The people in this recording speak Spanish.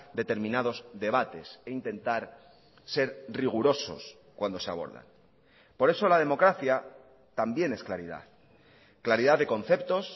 determinados debates e intentar ser rigurosos cuando se abordan por eso la democracia también es claridad claridad de conceptos